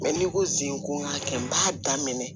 n'i ko zen ko n k'a kɛ n b'a daminɛ